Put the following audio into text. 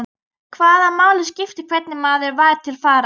Hvaða máli skipti hvernig maður var til fara?